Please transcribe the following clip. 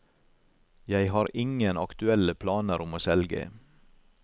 Jeg har ingen aktuelle planer om å selge.